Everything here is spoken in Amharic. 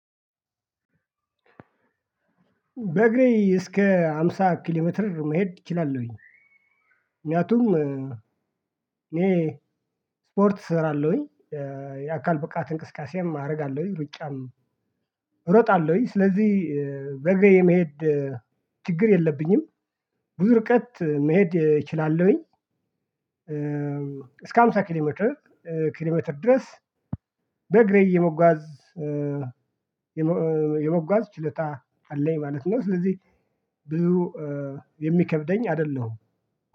በእግሬ እስከ ሃምሳ ኪሎሜትር መሄድ እችላለሁኝ። ምክንያቱም፥ እኔ ስፖርት እሰራለሁኝ፤ የአካል ብቃት እንቅስቃሴም አደርጋለሁኝ፤ ሩጫም እሮጣለሁኝ ስለዚህ በእግሬ የመሄድ ችግር የለብኝም። ብዙ ርቀት መሄድ እችላለሁኝ፥ እስከ ሃምሳ ኪሎ ሜትር ኪሎ ሜትር ድረስ በእግሬ የመጓዝ የመጓዝ ችሎታ አለኝ ማለት ነው። ስለዚህ ብዙ የሚከብደኝ አይደለሁም።